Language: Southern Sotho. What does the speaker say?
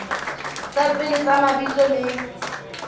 tsa pele tsa mabitso le